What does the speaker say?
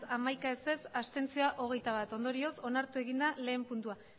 hamaika abstentzioak hogeita bat ondorioz onartu egin da lehen puntua